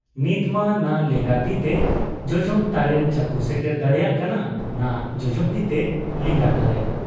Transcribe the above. ᱱᱤᱛᱢᱟ ᱱᱟ ᱞᱮᱸᱜᱟ ᱛᱤᱛᱮ ᱡᱚᱡᱚᱢ ᱛᱟᱨᱮᱱᱮ ᱪᱟᱹᱯᱩ ᱥᱮᱴᱮᱨ ᱫᱟᱲᱮᱭᱟᱜ ᱠᱟᱱᱟ ᱱᱟ ᱡᱚᱡᱚᱢ ᱛᱤᱛᱮ ᱞᱮᱸᱜᱟ ᱛᱟᱨᱮᱱ ᱾